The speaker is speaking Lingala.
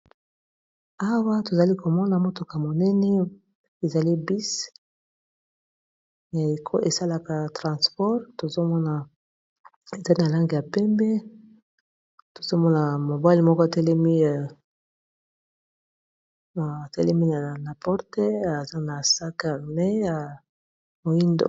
Awa tozali komona motuka monene ezali bus ya eko esalaka transport tozomona ezali na langi ya pembe tozomona mobali moko atelemi na porte aza na sac a main ya mwindo.